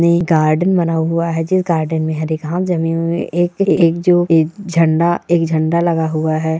ये गार्डन बना हुआ है जिस गार्डन मे हरी घास जमी हुई एक-एक जो एक झण्डा-एक झण्डा लगा हुआ है।